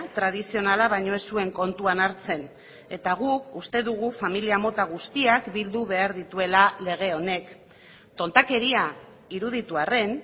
tradizionala baino ez zuen kontuan hartzen eta guk uste dugu familia mota guztiak bildu behar dituela lege honek tontakeria iruditu arren